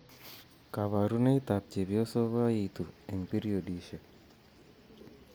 Kaborunoik ab chepyosok koyoitu eng' periodisiek